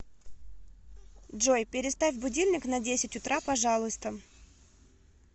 джой переставь будильник на десять утра пожалуйста